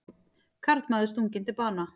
Karlmaður stunginn til bana